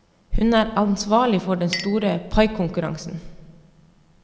Hun er ansvarlig for den store paikonkurransen.